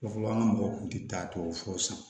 Yɔrɔ fɔlɔ an ka mɔgɔw kun ti taa tubabu fu san